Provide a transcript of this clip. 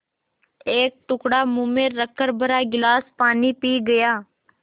एक टुकड़ा मुँह में रखकर भरा गिलास पानी पी गया